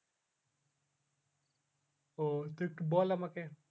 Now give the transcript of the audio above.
ও এই টা একটু বল আমাকে